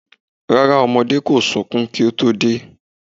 Rárá ọmọdé kò sunkún kí o tó dé